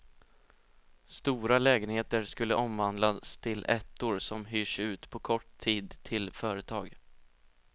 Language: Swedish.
Stora lägenheter skulle omvandlas till ettor som hyrs ut på kort tid till företag.